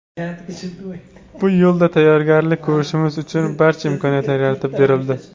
Bu yo‘lda tayyorgarlik ko‘rishimiz uchun barcha imkoniyatlar yaratib berildi.